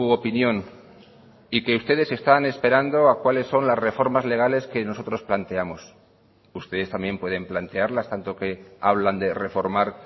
opinión y que ustedes están esperando a cuáles son las reformas legales que nosotros planteamos ustedes también pueden plantearlas tanto que hablan de reformar